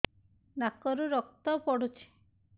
ନାକରୁ ରକ୍ତ ପଡୁଛି